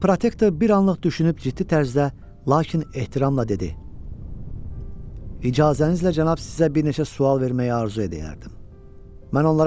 Lord Protektor bir anlıq düşünüb ciddi tərzdə, lakin ehtiramla dedi: “İcazənizlə cənab, sizə bir neçə sual verməyə arzu edəyərdim.”